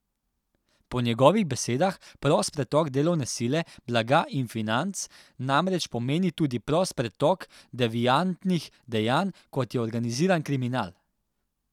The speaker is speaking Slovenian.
Po njegovih besedah prost pretok delovne sile, blaga in financ namreč pomeni tudi prost pretok deviantnih dejanj, kot je organiziran kriminal.